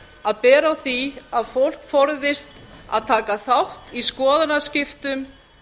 að bera á því að fólk forðist að taka þátt í skoðanaskiptum